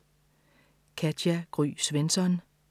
Katja Gry Svensson